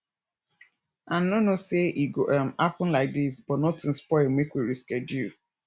i no know say e go um happen like dis but nothing spoil make we reschedule